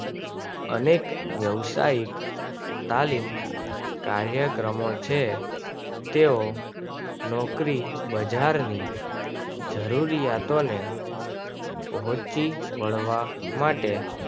અનેક વ્યવસાઈક તાલીમ કાર્યક્રમો છે તેઓ નોકરી બજાર ની જરૂરીયાતો ને પહોંચી વળવા માટે